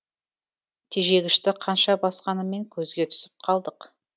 тежегішті қанша басқаныммен көзге түсіп қалдық